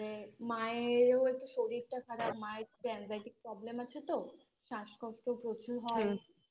মায়েরও একটু শরীরটা খারাপ মায়ের একটু Anxiety problem আছে তো শ্বাসকষ্ট প্রচুর হয়